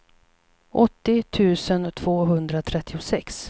åttio tusen tvåhundratrettiosex